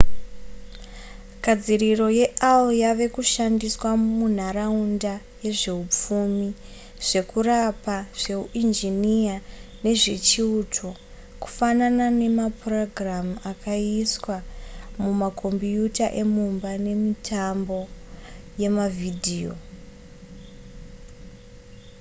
gadziriro yeai yave kushandiswa munharaunda yezveupfumi zvekurapa zveuinjiniya nezvechiuto kufanana nemapurogiramu akaiswa mumakombiyuta emumba nemumitambo yemavhidhiyo